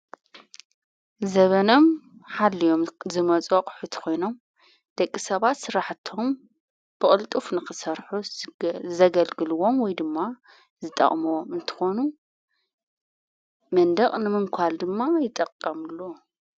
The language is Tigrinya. ዘበኖም ሓልዮም ዝመጽቕ ሕትኾይኖም ደቂ ሰባት ሥራሕቶም ብቕልጡፍ ንኽሠርሑ ዘገልግልዎም ወይ ድማ ዝጠቕምዎም እንተኾኑ መንደቕ ንምንኳል ድማ ይጠቀሙሉ::